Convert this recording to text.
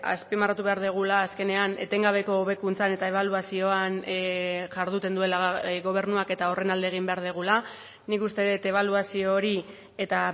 azpimarratu behar dugula azkenean etengabeko hobekuntzan eta ebaluazioan jarduten duela gobernuak eta horren alde egin behar dugula nik uste dut ebaluazio hori eta